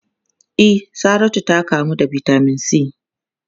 E, Saratu ta kamu da Vitamin C.